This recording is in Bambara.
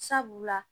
Sabula